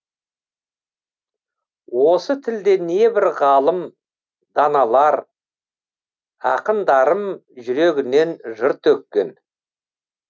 осы тілде небір ғалым даналар ақындарым жүрегінен жыр төккен